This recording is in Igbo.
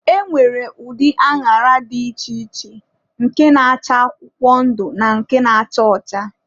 E nwere ụdị añara dị iche iche, nke na-acha akwụkwọ ndụ na nke na-acha ọcha.